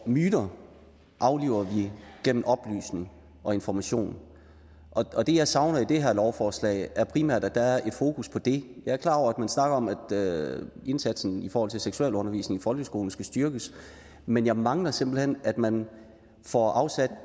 myter afliver vi gennem oplysning og information og det jeg savner i det lovforslag er primært at der er et fokus på det jeg er klar over at man snakker om at indsatsen i forhold til seksualundervisning i folkeskolen skal styrkes men jeg mangler simpelt hen at man får afsat